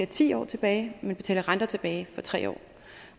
ti år tilbage men betale renter tilbage for tre år